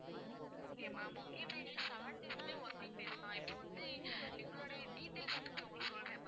ஆஹ் okay ma'am okay இப்போ எங்களுக்கு seven days மே working days தான் இப்போ வந்து எங்களுடைய details first உங்களுக்கு சொல்றேன்